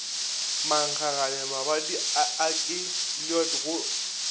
mankgagane mabadi a keliod go